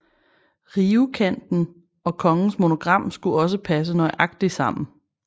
Rivekanten og kongens monogram skulle også passe nøjagtigt sammen